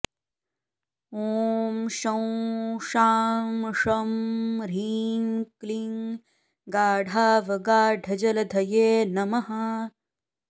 ॐ शं शां षं ह्रीं क्लीं गाढावगाढजलधये नमः